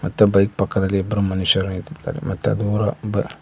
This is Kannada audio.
ಮತ್ತು ಬೈಕ್ ಪಕ್ಕದಲ್ಲಿ ಇಬ್ಬರು ಮನುಷ್ಯರು ನಿಂತಿದ್ದಾರೆ ಮತ್ತೆ ದೂರ--